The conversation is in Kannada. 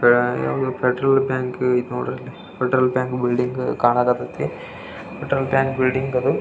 ಆಟೋ ಗಿಟೋ ಓಡಾಡುದೆಲ್ಲದು ಖಾನಾತೇತಿ ಅದರಲ್ಲಿ.